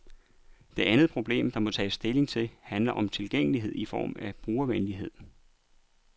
Det andet problem, der må tages stilling til, handler om tilgængelighed i form af brugervenlighed.